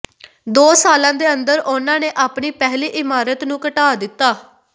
ਦੋ ਸਾਲਾਂ ਦੇ ਅੰਦਰ ਉਨ੍ਹਾਂ ਨੇ ਆਪਣੀ ਪਹਿਲੀ ਇਮਾਰਤ ਨੂੰ ਘਟਾ ਦਿੱਤਾ